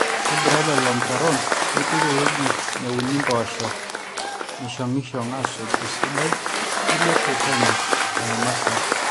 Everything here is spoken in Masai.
ntobirra lelo mutaron nipik ewueji neuni mpoosho neishong'ishong aasuja esidai nilepie penyo nena martin